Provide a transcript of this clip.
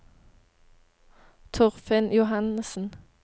Torfinn Johannessen